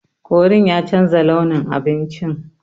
Korin ya chanza launin abincin.